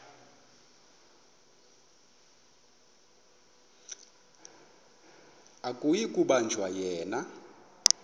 akuyi kubanjwa yena